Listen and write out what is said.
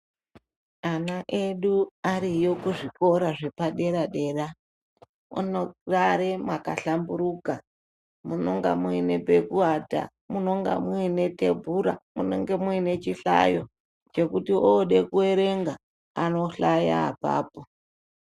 Ana edu ariyo kuzvikora zvepadera-dera anogare mwakahlamburuka. Munonga muine pekuwata, munonga muine thebhura, munenge muine chihlayo, chekuti oode kuerenga ,anohlaya apapo.